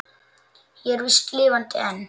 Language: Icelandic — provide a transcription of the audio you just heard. Ég er víst lifandi enn!